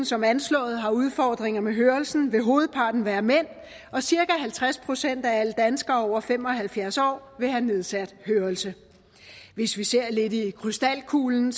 som anslået har udfordringer med hørelsen vil hovedparten være mænd og cirka halvtreds procent af alle danskere over fem og halvfjerds år vil have nedsat hørelse hvis vi ser lidt i krystalkuglen